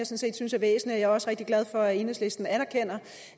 set synes er væsentlig og også rigtig glad for at enhedslisten anerkender